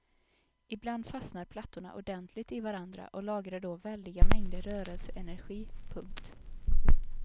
Ibland fastnar plattorna ordentligt i varandra och lagrar då väldiga mängder rörelseenergi. punkt